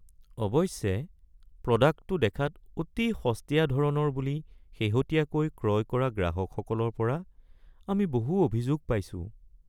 অৱশ্যে প্ৰডাক্টটো দেখাত অতি সস্তীয়া ধৰণৰ বুলি শেহতীয়াকৈ ক্ৰয় কৰা গ্ৰাহকসকলৰ পৰা আমি বহু অভিযোগ পাইছো।